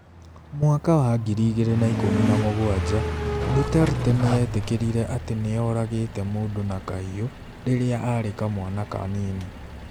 Mwaka wa 2017, Duterte nĩ eetĩkĩrire atĩ nĩ oragĩte mũndũ na kahiũ rĩrĩa aarĩ kamwana kanini.